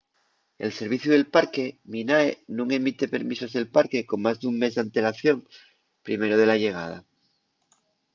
el serviciu del parque minae nun emite permisos del parque con más d’un mes d’antelación primero de la llegada